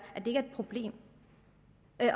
problem